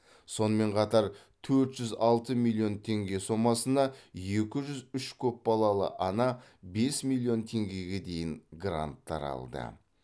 сонымен қатар төрт жүз алты миллион теңге сомасына екі жүз үш көпбалалы ана бес миллион теңгеге дейін гранттар алды